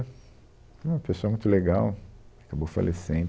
Era uma pessoa muito legal, acabou falecendo.